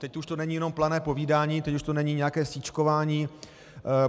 Teď už to není jenom plané povídání, teď už to není nějaké sýčkování.